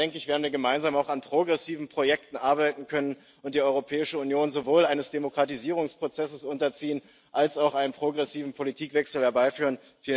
Dann werden wir gemeinsam auch an progressiven Projekten arbeiten können und die Europäische Union sowohl einem Demokratisierungsprozess unterziehen als auch einen progressiven Politikwechsel herbeiführen.